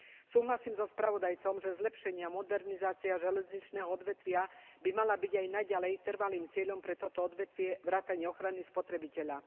Súhlasím so spravodajcom, že zlepšenie a modernizácia železničného odvetvia by mali byť aj naďalej trvalým cieľom pre toto odvetvie vrátane ochrany spotrebiteľa.